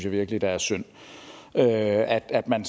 virkelig det er synd at at man